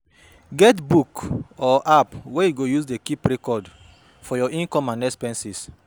Get book or app wey yu go use keep record for yur income and expenses